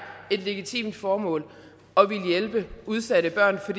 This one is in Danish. et legitimt formål at ville hjælpe udsatte børn for